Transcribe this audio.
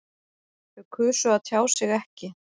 Þau kusu að tjá sig ekki